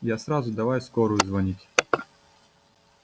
я сразу давай в скорую звонить